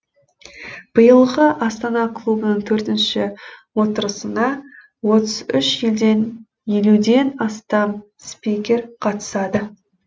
биылғы астана клубының төртінші отырысына отыз үш елден елуден астам спикер қатысады